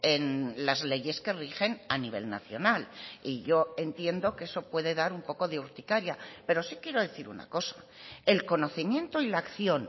en las leyes que rigen a nivel nacional y yo entiendo que eso puede dar un poco de urticaria pero sí quiero decir una cosa el conocimiento y la acción